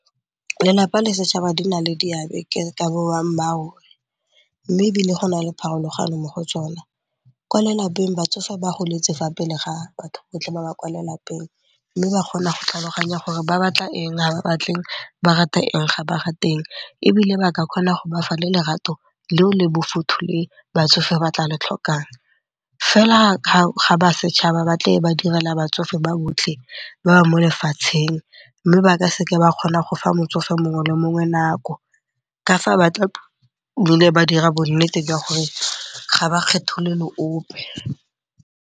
Lelapa le setšhaba di na le diabe mme ebile go na le pharologano mo go tsona. Kwa lelapeng batsofe ba goletse fa pele ga batho botlhe ba ba kwa lelapeng mme ba kgona go tlhaloganya gore ba batla eng ga ba batle eng, ba rata eng ga ba ga rate eng. Ebile ba ka kgona go bafa le lerato le o le bofuthu le batsofe ba tla le tlhokang. Fela ga ba setšhaba batle ba direla batsofe ba botlhe ba ba mo lefatsheng mme ba ka seke ba kgona go fa motsofe mongwe le mongwe nako, ka fa batla ba dira bonnete jwa gore ga ba kgetholole ope.